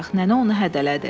Nənə onu hədələdi.